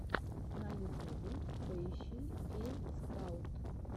на ютубе поищи гейм спраут